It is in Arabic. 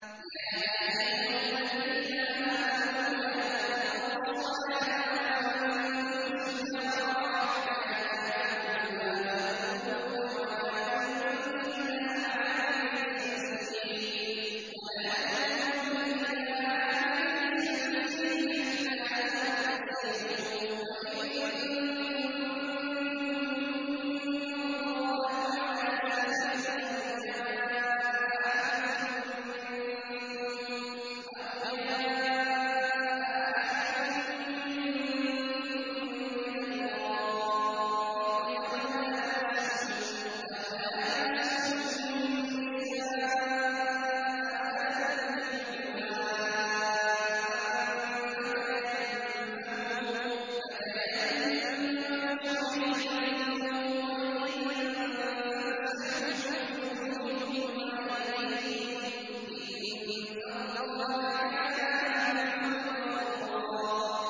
يَا أَيُّهَا الَّذِينَ آمَنُوا لَا تَقْرَبُوا الصَّلَاةَ وَأَنتُمْ سُكَارَىٰ حَتَّىٰ تَعْلَمُوا مَا تَقُولُونَ وَلَا جُنُبًا إِلَّا عَابِرِي سَبِيلٍ حَتَّىٰ تَغْتَسِلُوا ۚ وَإِن كُنتُم مَّرْضَىٰ أَوْ عَلَىٰ سَفَرٍ أَوْ جَاءَ أَحَدٌ مِّنكُم مِّنَ الْغَائِطِ أَوْ لَامَسْتُمُ النِّسَاءَ فَلَمْ تَجِدُوا مَاءً فَتَيَمَّمُوا صَعِيدًا طَيِّبًا فَامْسَحُوا بِوُجُوهِكُمْ وَأَيْدِيكُمْ ۗ إِنَّ اللَّهَ كَانَ عَفُوًّا غَفُورًا